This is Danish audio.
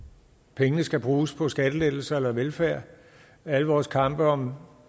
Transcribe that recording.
pengene skal bruges på skattelettelser eller velfærd og alle vores kampe om